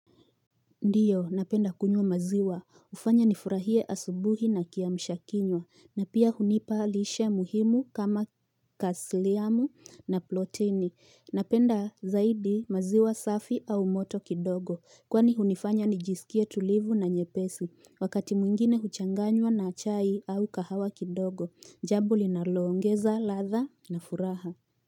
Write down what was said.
Ndiyo, napenda kunywa maziwa. Ufanya nifurahie asubuhi na kiamshakinywa. Na pia hunipa lishe muhimu kama kasliamu na protini. Napenda zaidi maziwa safi au moto kidogo. Kwani hunifanya nijisikie tulivu na nyepesi. Wakati mwingine huchanganywa na chai au kahawa kidogo. Jambo linalongeza, ladha na furaha.